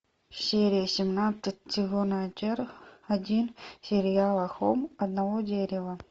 серия семнадцать сезон один сериала холм одного дерева